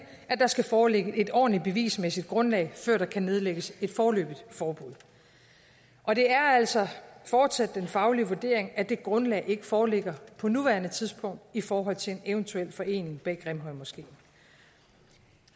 at der skal foreligge et ordentligt bevismæssigt grundlag før der kan nedlægges et foreløbigt forbud og det er altså fortsat den faglige vurdering at det grundlag ikke foreligger på nuværende tidspunkt i forhold til en eventuel forening bag grimhøjmoskeen